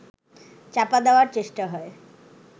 চাপা দেওয়ার চেষ্টা হয়